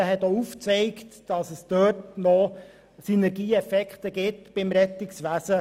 Dieser hat aufgezeigt, dass noch Synergiemöglichkeiten bestehen.